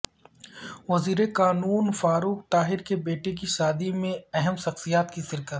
وزیر قانون فاروق طاہر کے بیٹے کی شادی میں اہم شخصیات کی شرکت